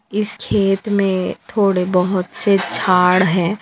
इस खेत में थोड़े बहोत से छाड़ है।